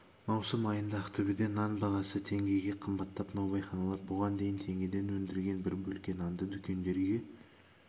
маусым айында ақтөбеде нан бағасы теңгеге қымбаттап наубайханалар бұған дейін теңгеден өндірген бір бөлке нанды дүкендерге